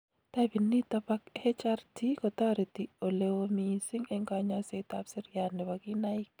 Typit nitok ba hrt kotareti oleoo missing eng kanyaiset ab siriat nebo kinaik